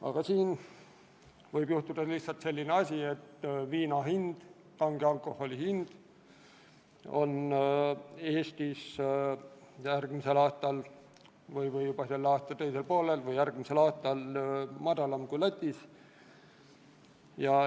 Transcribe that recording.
Ent nüüd võib juhtuda lihtsalt selline asi, et viina hind, üldse kange alkoholi hind on Eestis järgmisel aastal või juba selle aasta teisel poolel madalam kui Lätis.